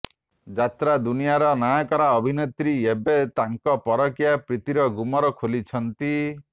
ଯାତ୍ରା ଦୁନିଆର ନାଁ କରା ଅଭିନେତ୍ରୀ ଏବେ ତାଙ୍କ ପରକୀୟା ପ୍ରିତିର ଗୁମର ଖୋଲିଛନ୍ତି